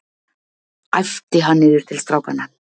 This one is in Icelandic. æpti hann niður til strákanna.